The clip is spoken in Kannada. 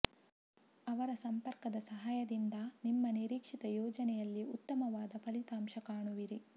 ಅವರ ಸಂಪರ್ಕದ ಸಹಾಯದಿಂದ ನಿಮ್ಮ ನಿರೀಕ್ಷಿತ ಯೋಜನೆಯಲ್ಲಿ ಉತ್ತಮವಾದ ಫಲಿತಾಂಶ ಕಾಣುವಿರಿ